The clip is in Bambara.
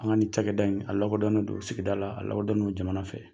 An ka nin cakɛda in a lakodɔnnen do sigida la a lakodɔnnen do jamana fɛ.